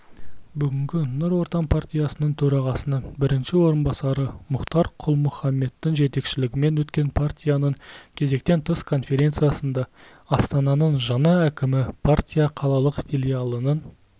бүгін нұр отан партиясы төрағасының бірінші орынбасары мұхтар құл-мұхаммедтің жетекшілігімен өткен партияның кезектен тыс конференциясында астананың жаңа әкімі партия қалалық филиалының